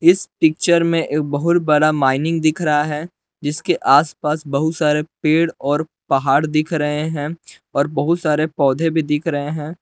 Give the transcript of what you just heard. इस पिक्चर में एक बहुत बड़ा माइनिंग दिख रहा है जिसके आसपास बहुत सारे पेड़ और पहाड़ दिख रहे हैं और बहुत सारे पौधे भी दिख रहे हैं।